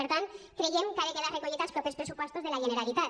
per tant creiem que ha de quedar recollit als propers pressupostos de la generalitat